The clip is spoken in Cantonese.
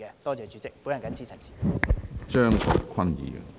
多謝主席，我謹此陳辭。